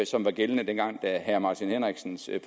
som var gældende dengang herre martin henriksens